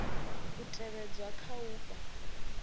u tevhedzwa kha u fha